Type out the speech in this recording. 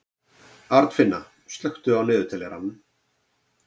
Arnfinna, slökktu á niðurteljaranum.